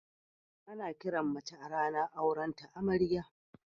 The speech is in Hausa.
Ana kiran mace a ranan auren ta Amarya.